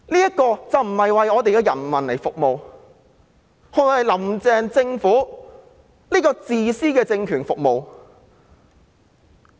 這並不是為我們的人民服務，而是為"林鄭"政府這個自私的政權服務。